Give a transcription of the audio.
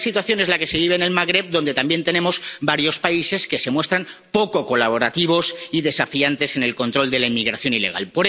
Similar situación es la que se vive en el Magreb, donde también tenemos varios países que se muestran poco colaborativos y desafiantes en el control de la inmigración ilegal.